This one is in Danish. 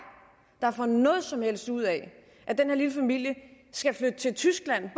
der kan få noget som helst ud af at den her lille familie skal flytte til tyskland